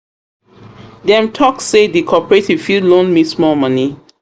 Dem talk sey di corporative fit loan me small money.